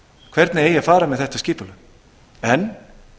hvernig eigi að fara með þetta skipulag en